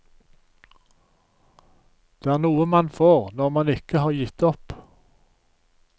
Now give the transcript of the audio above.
Det er noe man får når man ikke har gitt opp.